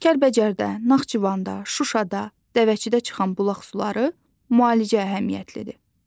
Kəlbəcərdə, Naxçıvanda, Şuşada, Dəvəçidə çıxan bulaq suları müalicə əhəmiyyətlidir.